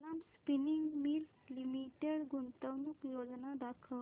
Kalam spinning mills limited गुंतवणूक योजना दाखव